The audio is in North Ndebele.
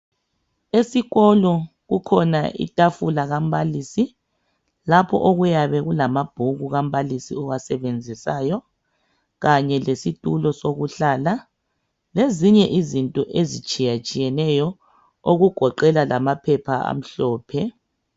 Esikolo kukhona itafula kambalisi lapho okuyabe kulamabhuku kambalisi owasebenzisayo kanye lesitulo sokuhlala lezinye izinto ezitshiyatshiyeneyo okugoqela lamaphepha amhlophe.